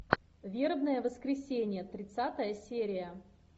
вербное воскресенье тридцатая серия